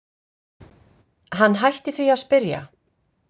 Hann hætti því að spyrja.